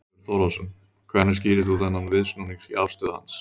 Þorbjörn Þórðarson: Hvernig skýrir þú þá þennan viðsnúning í afstöðu hans?